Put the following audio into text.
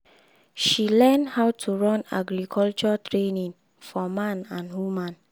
she learn how to run agriculture training for man and woman.